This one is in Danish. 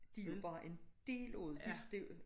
De jo bare en del af det de det jo